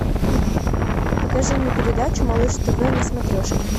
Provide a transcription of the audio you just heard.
покажи мне передачу малыш тв на смотрешке